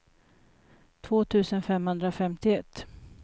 två tusen femhundrafemtioett